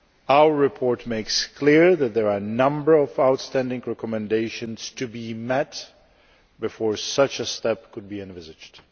Our report makes clear that there are a number of outstanding recommendations to be met before such a step could be envisaged.